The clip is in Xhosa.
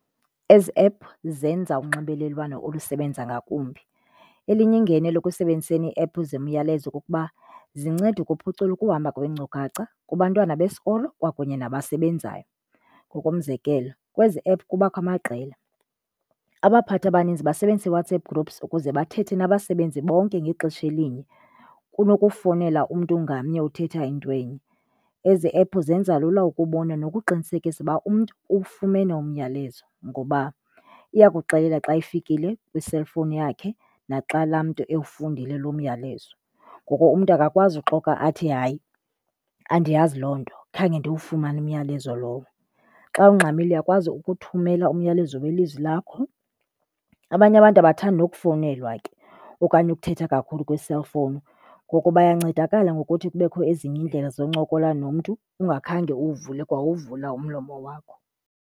Ezi app zenza unxibelelwano olusebenza ngakumbi. Elinye ingenelo ekusebenziseni app zemiyalezo kukuba zinceda ukuphucula ukuhamba kweenkcukacha, kubantwana besikolo kwakunye nasebenzayo. Ngokomzekelo kwezi app kubakho amaqela. Abaphathi abaninzi basebenzisa iiWhatsApp groups ukuze bathethe nabasebenzi bonke ngexesha elinye kunokufowunelwa umntu ngamnye uthetha into enye. Ezi app zenza lula ukubona nokuqinisekisa uba umntu uwufumene umyalezo ngoba iyakuxelela xa zifikile kwi-cellphone yakhe naxa laa umntu efundile loo myalezo. Ngoko umntu akakwazi uxoka athi, hayi andiyazi loo nto, khange ndisufumane umyalezo lowo. Xa ungxamile uyakwazi ukuthumela umyalezo welizwi lakho. Abanye abantu abathandi nokufownelwa ke okanye ukuthetha kakhulu kwi-cellphone, ngoko bayancedakala ngokuthi kubekho ezinye iindlela zokuncokola nomntu ungakhange uwuvule kwa uwuvula umlomo wakho.